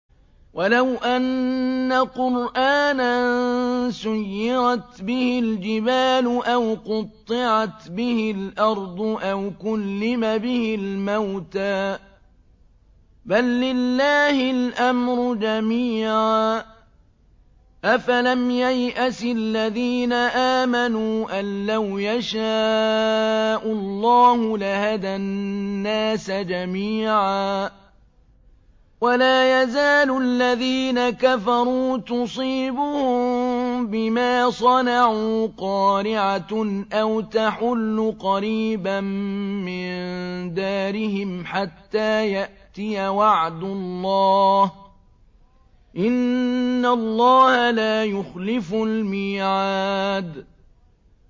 وَلَوْ أَنَّ قُرْآنًا سُيِّرَتْ بِهِ الْجِبَالُ أَوْ قُطِّعَتْ بِهِ الْأَرْضُ أَوْ كُلِّمَ بِهِ الْمَوْتَىٰ ۗ بَل لِّلَّهِ الْأَمْرُ جَمِيعًا ۗ أَفَلَمْ يَيْأَسِ الَّذِينَ آمَنُوا أَن لَّوْ يَشَاءُ اللَّهُ لَهَدَى النَّاسَ جَمِيعًا ۗ وَلَا يَزَالُ الَّذِينَ كَفَرُوا تُصِيبُهُم بِمَا صَنَعُوا قَارِعَةٌ أَوْ تَحُلُّ قَرِيبًا مِّن دَارِهِمْ حَتَّىٰ يَأْتِيَ وَعْدُ اللَّهِ ۚ إِنَّ اللَّهَ لَا يُخْلِفُ الْمِيعَادَ